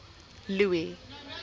louis